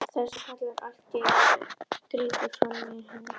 Það er bróðir hennar sem kallar allt í einu, grípur fram í fyrir henni.